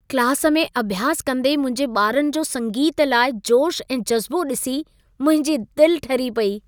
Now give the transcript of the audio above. Class में अभ्यास कंदे मुंहिंजे ॿारनि जो संगीत लाइ जोशु ऐं जज़्बो ॾिसी मुंहिंजी दिलि ठरी पई।